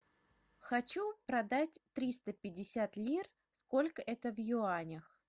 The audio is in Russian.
хочу продать триста пятьдесят лир сколько это в юанях